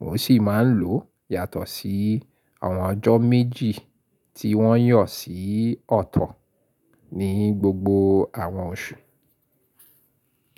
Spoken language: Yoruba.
N ò sì máa ń lò yàtọ̀ sí àwọn ọjọ́ méjì tí wọ́n yàn sí ọ̀tọ̀ ní gbogbo àwọn oṣù.